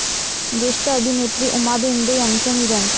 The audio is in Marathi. ज्येष्ठ अभिनेत्री उमा भेंडे यांचं निधन